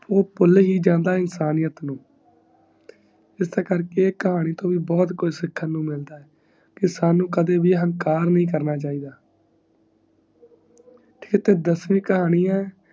ਊ ਪੁਲ ਹੀ ਜਾਂਦਾ ਇਨਸਾਨੀਯਤ ਨੂੰ, ਐੱਸ ਕਰਕੇ ਇਸ ਕਹਾਣੀ ਤੋਂ ਬ ਬਹੁਤ ਕੁਜ ਸਿਖਾਂ ਨੂੰ ਮਿਲਣਾ ਕਿ ਸਾਨੂ ਕਦੇ ਵੀ ਅਹੰਕਾਰ ਨਰਨਾ ਚਾਹੀਦਾ, ਤੇ ਦਸਵੀ ਕਹਾਣੀ ਈ